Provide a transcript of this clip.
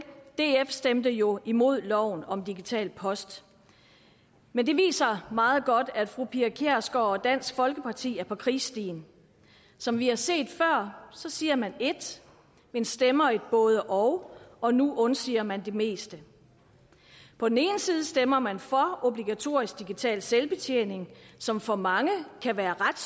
df stemte jo imod loven om digital post men det viser meget godt at fru pia kjærsgaard og dansk folkeparti er på krigsstien som vi har set før siger man ét men stemmer et både og og nu undsiger man det meste på den ene side stemmer man for obligatorisk digital selvbetjening som for mange kan være ret